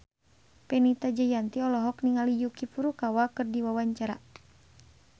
Fenita Jayanti olohok ningali Yuki Furukawa keur diwawancara